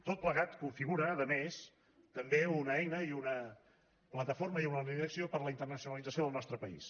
tot plegat configura a més també una eina i una plataforma i una línia d’acció per a la internacionalització del nostre país